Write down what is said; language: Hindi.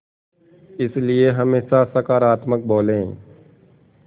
इसलिए हमेशा सकारात्मक बोलें